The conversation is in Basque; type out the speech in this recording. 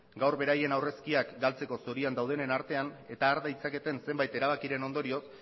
gaur beraien aurrezkiak galtzeko zorian daudenen artean eta har ditzaketen zenbait erabakiren ondorioz